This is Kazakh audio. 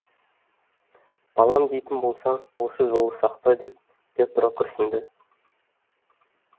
балам дейтін болсаң осы жолы сақта деп петро күрсінді